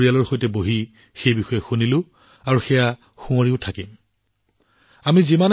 আমি পৰিয়ালৰ সৈতে বহি সকলোবোৰ শুনিছো আৰু এতিয়া গোটেই দিনটো ইয়াক গুণগুণাই থাকিম